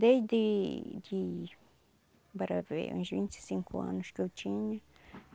Desde de bora ver uns vinte e cinco anos que eu tinha.